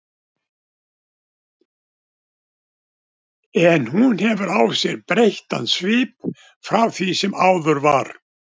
En hún hefur á sér breyttan svip frá því sem áður var.